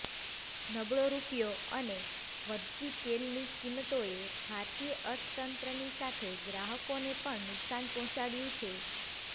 નબળો રુપિયો અને વધતી તેલની કિંમતોએ ભારતીય અર્થતંત્રની સાથે ગ્રાહકોને પણ નુકસાન પહોંચાડ્યું છે